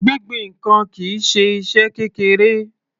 Gbingbin ǹkan kìí ṣe iṣẹ́ kékeré.